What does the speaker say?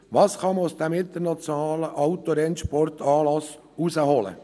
Was kann man aus diesem internationalen Autorennsportanlass herausholen?